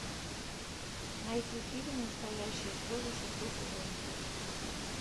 найти фильм настоящие слезы шестой сезон